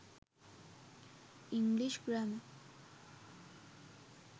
english grammar